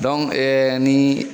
ni